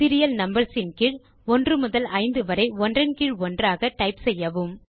serial numbers இன் கீழ் 1 முதல் 5 வரை ஒன்றன் கீழ் ஒன்றாக டைப் செய்யவும்